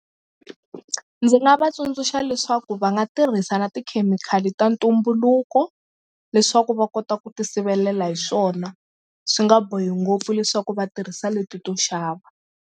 Ndzi nga va tsundzuxa leswaku va nga tirhisa na tikhemikhali ta ntumbuluko leswaku va kota ku ti sivelela hi swona swi nga bohi ngopfu leswaku va tirhisa leti to xava.